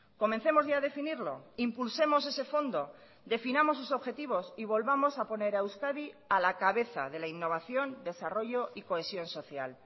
comencemos ya a definirlo impulsemos ese fondo definamos sus objetivos y volvamos a poner a euskadi a la cabeza de la innovación desarrollo y cohesión social